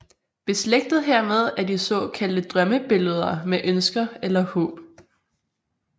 Beslægtet hermed er de såkaldte drømmebilleder med ønsker eller håb